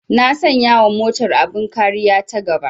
Na sanya wa motar abin kariya ta gaba